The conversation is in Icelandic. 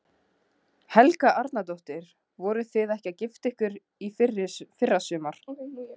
Helga Arnardóttir: Voruð þið ekki að gifta ykkur í fyrrasumar?